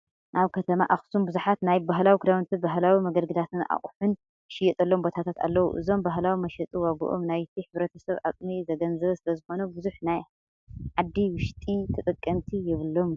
ኣብ ከተማ ኣክሱም ብዙሓት ናይ ባህላዊ ክዳውንትን ባህላዊ መገልገልታት ኣቁሑትን ዝሽየጠሎም ቦታታት ኣለው። እዞም ባህላዊ መሸጢ ዋግኦም ናይቲ ሕብረተሰብ ኣቅሚ ዘገናዘበ ስለዘይኾነ ብዙሕ ናይ ሓዲ ውሽጢ ተጠቀምቲ የብሎምን።